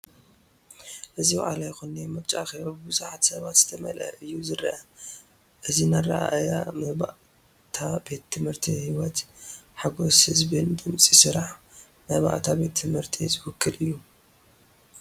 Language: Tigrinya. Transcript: እዚ ዋዕላ ይኹን ናይ ምርጫ ኣኼባ ብብዙሓት ሰባት ዝተመልአ እዩ ዝረአ። እዚ ንኣረኣእያ መባእታ ቤት ትምህርትን ህይወት፡ ሓጎስ ህዝቢን ድምጺ ስራሕ መባእታ ቤት ትምህርትን ዝውክል እዩ።